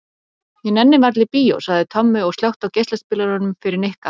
Ég nenni varla í bíó sagði Tommi og slökkti á geislaspilaranum fyrir Nikka.